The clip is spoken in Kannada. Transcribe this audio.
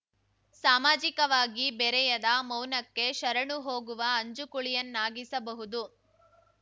ಸಾಮಾಜಿಕವಾಗಿ ಬೆರೆಯದ ಮೌನಕ್ಕೆ ಶರಣು ಹೋಗುವ ಅಂಜುಕುಳಿಯನ್ನಾಗಿಸಬಹುದು